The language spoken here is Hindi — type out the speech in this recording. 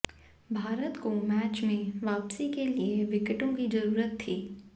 भारत को मैच में वापसी के लिए विकेटों की जरूरत थी